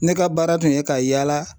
Ne ka baara tun ye ka yaala